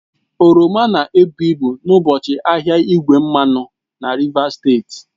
Oroma na-ebu ibu n'ụbọchị ahịa igwe mmanụ na Rivers steeti